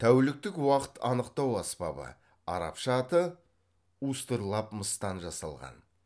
тәуліктік уақыт анықтау аспабы арабша аты устырлаб мыстан жасалған